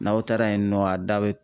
N'aw taara yen nɔ a da bɛ